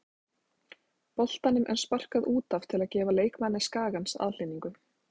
Boltanum er sparkað út af til að gefa leikmanni Skagans aðhlynningu.